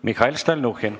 Mihhail Stalnuhhin.